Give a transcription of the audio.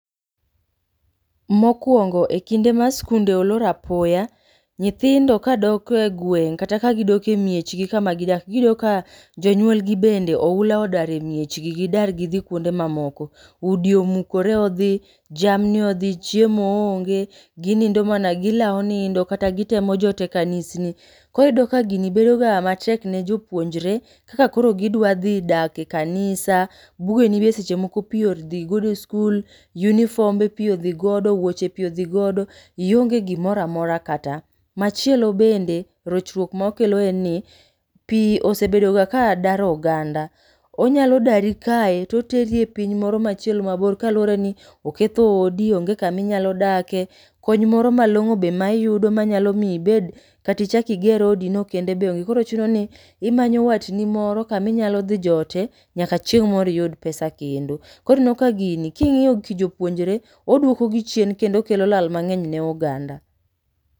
Mokwongo, e kinde ma skunde olor apoya, nyithindo kagidok e miechgi kama gidake giyudo ka jonyuol gi bende oula odaro e miechgi. Gidar gidhi kuonde mamoko. Udi omukore odhi, jamni odhi, chiemo onge, ginindo mana gilawo nindo kata gitemo jot e kanisni. Koro iyudo ka gini bedo ga matek ne jopuonjre, kaka koro gidwa dhi dak e kanisa. Bugeni be seche moko pi odhi godo e skul, yunifombe pi odhi godo, wuoche pi odhi godo, ionge gimoramora kata. Machielo bende, rochruok ma okelo en ni pi osebedoga ka daro oganda. Onyalo dari kae toteri e piny moro machielo mabor kaluwore ni oketho odi, onge kaminyalo dake. Kony moro ma long'o be ma iyudo manyalo mi ibed katichak iger odi no kende be onge. Koro chuno ni imanyo watni moro kaminya dhi jote, nyaka chieng' moro iyud [pesa kendo. Koro ineno ka gini king'iyo ki jouonjre, oduoko gi chieno kendo okelo lal mang'eny ne oganda.